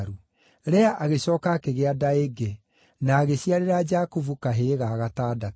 Lea agĩcooka akĩgĩa nda ĩngĩ, na agĩciarĩra Jakubu, kahĩĩ ga gatandatũ.